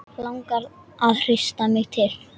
Langar að hrista mig til.